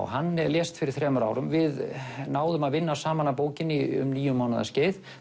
hann lést fyrir þremur árum við náðum að vinna saman að bókinni um níu mánaða skeið